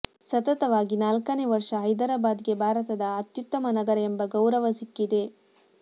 ಸತತವಾಗಿ ನಾಲ್ಕನೇ ವರ್ಷ ಹೈದರಾಬಾದ್ ಗೆ ಭಾರತದ ಅತ್ಯುತ್ತಮ ನಗರ ಎಂಬ ಗೌರವ ಸಿಕ್ಕಿದೆ